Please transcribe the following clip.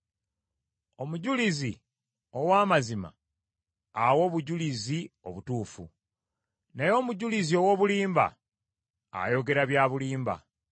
Omujulizi ow’amazima awa obujulizi obutuufu, naye omujulizi ow’obulimba ayogera bya bulimba.